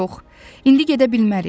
Yox, indi gedə bilmərik.